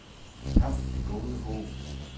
Kap Det Gode Håb